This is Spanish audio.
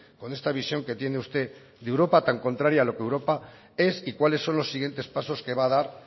con esta visión que tiene usted de europa tan contraria a lo que europa es y cuáles son los siguientes pasos que va a dar